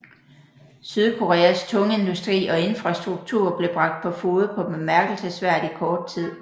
Sydkoreas tungindustri og infrastruktur blev bragt på fode på bemærkelsesværdig kort tid